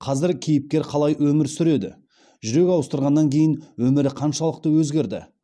қазір кейіпкер қалай өмір сүреді жүрек ауыстырғаннан кейін өмірі қаншалықты өзгерді